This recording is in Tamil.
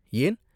ஏன்?